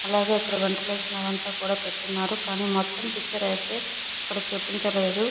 అలాగే ఇక్కడ వెంటిలేషన్ అవంతా కూడ పెట్టి ఉన్నారు. కానీ మొత్తం పిక్చర్ అయితే ఇక్కడ చూపించలేదు.